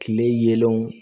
Kile yelenw